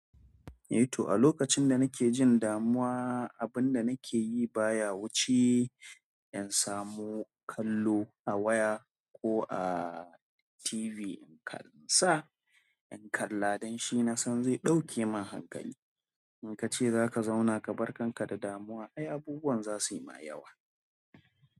Eh to a lokacin da nake jin damuwa, abun da nake yi baya wuce in samo kallo a waya ko a TV. In kansa, in kalla don shi na san zai ɗauke min hankali. In ka ce zaka zauna kabar kanka da damuwa ai abubuwan zasu ma yawa.